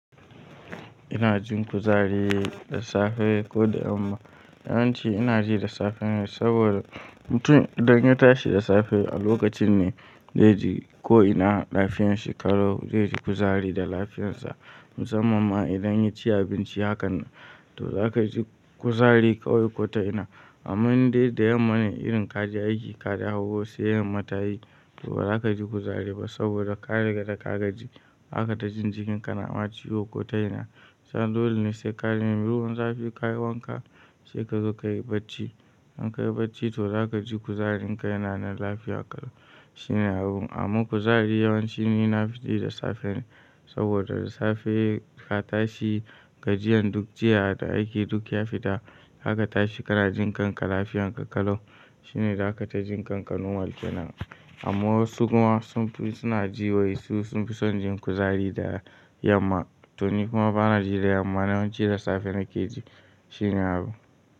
Ina jin kuzari da safe ko da yamma. Yawanci ina ji da safe ne saboda mutum idan ya tashi da safe a lokacin ne zai ji ko ina lafiyanshi kalau. Zai ji kuzari da lafiyarsa. Musamman ma idan ya ci abinci hakan nan to za ka ji kuzari kawai ko ta ina. Amma in dai da yamma ne irin ka je aiki, ka dawo sai yamma tayi to ba za ka ji kuzari ba saboda ka riƙa da ka gaji. Zaka ta jin jikin ka na ma ciwo ko ta ina. Sannan dole ne sai ka nemi ruwan zafi kayi wanka sai ka zo ka yi bacci. In ka yi bacci to za ka ji kuzarin ka yana nan lafiya kalau shine abun. Amman kuzari yawanci ni na fi ji da safe ne saboda da safe ka tashi, gajiyan duk jiya da aiki duk ya fita. Zaka tashi ka na jin kanka lafiyanka kalau shine zaka ta jin kanka normal kenan amma wasu kuma sun fi suna ji wai su sun fi son jin kuzari da yamma to ni kuma ba na ji da yamma. Yawanci da safe na ke ji shine abu.